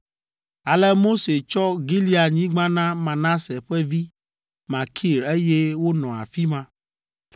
Ale Mose tsɔ Gileadnyigba na Manase ƒe vi Makir eye wonɔ afi ma.